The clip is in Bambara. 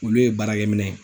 Olu ye baarakɛ minɛ ye.